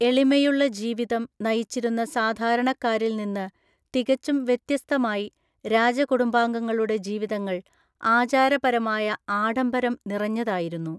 എളിമയുള്ള ജീവിതം നയിച്ചിരുന്ന സാധാരണക്കാരിൽ നിന്ന് തികച്ചും വ്യത്യസ്തമായി, രാജകുടുംബാംഗങ്ങളുടെ ജീവിതങ്ങൾ ആചാരപരമായ ആഡംബരം നിറഞ്ഞതായിരുന്നു.